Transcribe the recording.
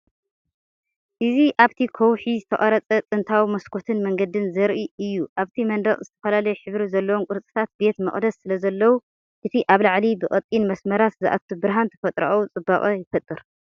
እዚ ኣብቲ ከውሒ ዝተቐርጸ ጥንታዊ መስኮትን መንገድን ዘርኢ እዩ። ኣብቲ መንደቕ ዝተፈላለየ ሕብሪ ዘለዎም ቅርጽታት ቤተ መቕደስ ስለዘለዉ፡ እቲ ካብ ላዕሊ ብቐጢን መስመራት ዝኣቱ ብርሃን ተፈጥሮኣዊ ጽባቐ ይፈጥር።